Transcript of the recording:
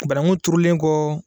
Bananku turulen kɔ.